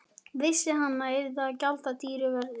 Vissi að hann yrði að gjalda dýru verði.